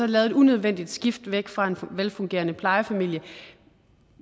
lavet et unødvendigt skift væk fra en velfungerende plejefamilie